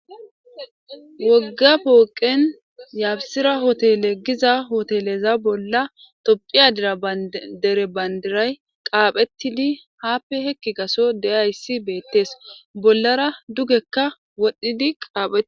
Woga poqen yabsira hoteleza giza hoteleza bola tophiya dere bandiray qaphetidi hape hape heki gaso de'iyaysi betes bolara dugekka wodhidi qaphetis.